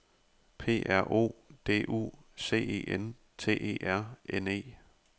P R O D U C E N T E R N E